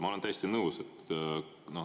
Ma olen täiesti nõus.